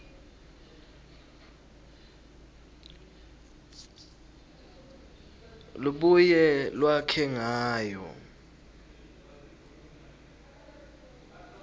lubuye lwakhe ngayo